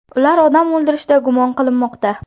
Ular odam o‘ldirishda gumon qilinmoqda.